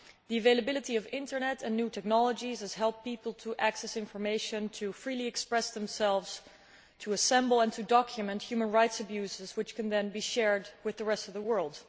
The availability of the internet and new technologies has helped people to access information, to freely express themselves, to assemble and to document human rights abuses, which can then be shared with the rest of the world.